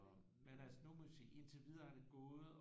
Men altså nu må vi se indtil videre er det gået